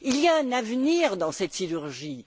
Il y a un avenir dans cette sidérurgie.